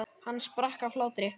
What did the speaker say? Hann sprakk af hlátri.